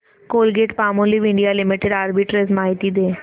Colgate Palmolive India limited arbitrage माहिती दे